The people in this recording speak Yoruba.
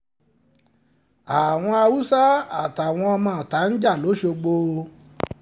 àwọn haúsá àtàwọn ọmọọ̀ta ń jà lọ́ṣọ́gbó o